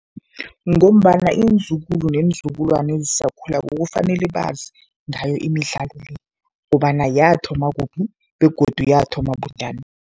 Ngombana iinzukulu neenzukulwana ezisakhulako kufanele bazi ngayo imidlalo le kobana yathoma kuphi begodu yathoma bunjani.